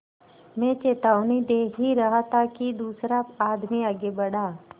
मैं चेतावनी दे ही रहा था कि दूसरा आदमी आगे बढ़ा